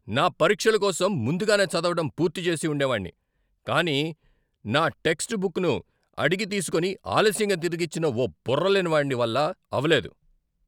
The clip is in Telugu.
నా పరీక్షల కోసం ముందుగానే చదవడం పూర్తి చేసి ఉండేవాన్ని, కానీ నా టెక్స్ట్ బుక్ను అడిగి తీసుకొని ఆలస్యంగా తిరిగిచ్చిన ఓ బుర్రలేని వాడి వల్ల అవలేదు.